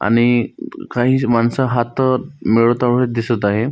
आणि काही माणस हात मिळवताना दिसत आहेत.